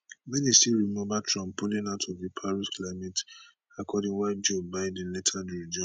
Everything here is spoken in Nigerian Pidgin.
many still remember trump pulling out of di paris climate accord while joe biden later rejoined